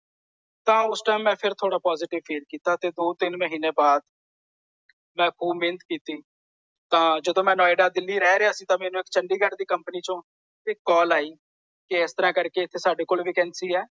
ਤਾਂ ਉਸ ਟਾਈਮ ਮੈਂ ਫੇਰ ਥੋੜਾ ਪੋਸਿਟਿਵ ਫ਼ੀਲ ਕੀਤਾ। ਤੇ ਦੋ ਤਿੰਨ ਮਹੀਨੇ ਬਾਅਦ। ਮੈਂ ਖ਼ੂਬ ਮਿਹਨਤ ਕੀਤੀ। ਤਾਂ ਜਦੋਂ ਮੈਂ ਨੋਇਡਾ ਦਿੱਲੀ ਰਹਿ ਰਿਹਾ ਸੀ ਤਾਂ ਮੈਨੂੰ ਇਕ ਚੰਡੀਗੜ੍ਹ ਦੀ ਕੰਪਨੀ ਚੋਂ ਇਕ ਕਾਲ ਆਈ। ਕਿ ਇਸ ਤਰ੍ਹਾਂ ਕਰਕੇ ਏਥੇ ਸਾਡੇ ਕੋਲ ਵਾਕਾਂਸੀ ਹੈ।